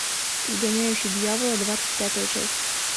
изгоняющий дьявола двадцать пятая часть